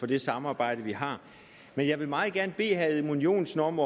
det samarbejde vi har men jeg vil meget gerne bede herre edmund joensen om